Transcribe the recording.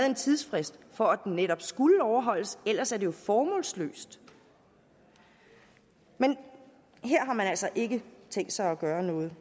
en tidsfrist for at den netop skulle overholdes ellers er det formålsløst men her har man altså ikke tænkt sig at gøre noget